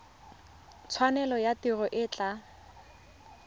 tshwanelo ya tiro e tla